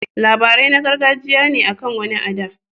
Labarai na gargajiya ne akan wani a da.